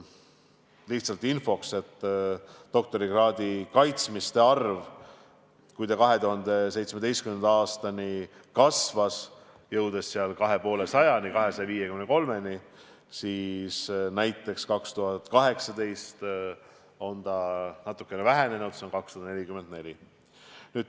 Lihtsalt infoks: kui doktorikraadi kaitsmiste arv 2017. aastani kasvas ja jõudis 253-ni, siis näiteks 2018. aastal on see natukene vähenenud, 244.